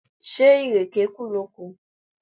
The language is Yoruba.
Ṣé ìrèké kù lóko?